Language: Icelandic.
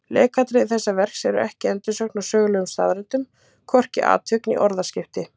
Leikatriði þessa verks eru ekki endursögn á sögulegum staðreyndum, hvorki atvik né orðaskipti.